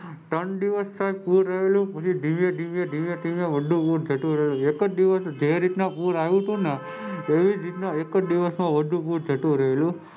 ત્રણ દિવસ સાહેબ પૂર આવેલું પછી ધીરે ધીરે ધીરે બધું પૂર જતું રહ્યું એકજ દિવસ જે રીતના પૂર આવ્યું તું ના એવીજ રીત ના એકજ દિવસ માં બધું પૂર જતું રહેલું.